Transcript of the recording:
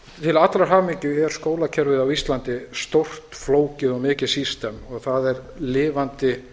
til allrar hamingju er skólakerfið á íslandi stórt flókið og mikið system og það er lifandi